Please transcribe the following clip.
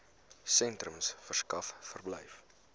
sentrums verskaf verblyf